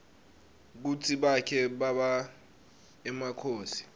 kutsi bake baba emakhosi